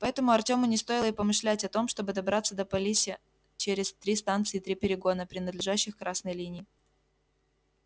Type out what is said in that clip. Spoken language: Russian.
поэтому артёму не стоило и помышлять о том чтобы добраться до полиса через три станции и три перегона принадлежащих красной линии